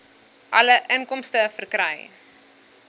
alle inkomste verkry